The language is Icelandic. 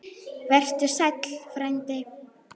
Vertu sæll, frændi.